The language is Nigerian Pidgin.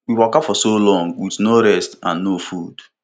we waka for so long with no rest and no food